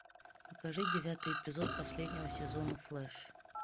покажи девятый эпизод последнего сезона флэш